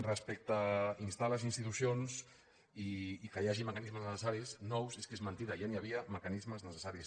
respecte a instar les institucions i que hi hagi meca·nismes necessaris nous és que és mentida ja hi havia mecanismes necessaris